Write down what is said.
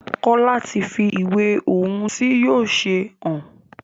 Kola tí fí ìwé ohùn tí yóò ṣe hàn.